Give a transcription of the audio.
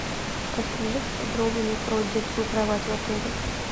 расскажи подробнее про детскую кровать в отеле